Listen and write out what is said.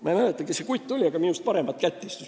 Ma ei mäleta, kes see kutt oli, aga minust paremat kätt ta istus.